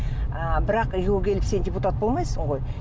ы бірақ үйге келіп сен депутат болмайсың ғой